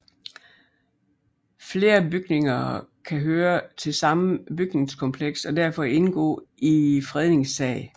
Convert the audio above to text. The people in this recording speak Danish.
Flere bygninger kan høre til samme bygningskompleks og derfor indgå i én fredningssag